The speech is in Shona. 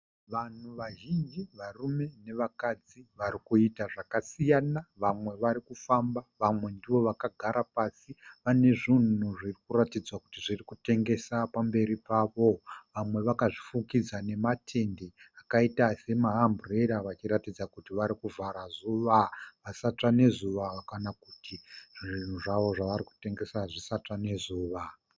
Vanhu vazhinji varume nevakadzi varikuita zvakasiyana, vamwe vari kufamba vamwe ndivo vakagara pasi. Pane zvinhu zviri kuratidza kuti zviri kutengeswa pamberi pavo. Vamwe vakazvifukidza nematende akaita semahamburera vachiratidza kuti vari kuvhara zuva. Vasatsva nezuva kana kuti zvinhu zvavo zvavari kutengesa zvisatsva nezuva.